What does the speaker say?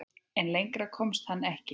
En lengra komst hann ekki.